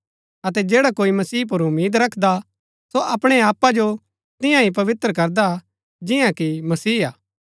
अतै जैडा कोई मसीह पुर उम्मीद रखदा सो अपणै आपा जो तियां ही पवित्र करदा जिन्‍ना कि मसीह हा